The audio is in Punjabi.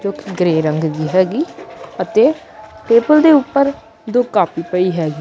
ਜੋ ਗਰੇ ਰੰਗ ਦੀ ਹੈਗੀ ਅਤੇ ਟੇਬਲ ਦੇ ਉੱਪਰ ਦੋ ਕਾਪੀ ਪਈ ਹੈਗੀ।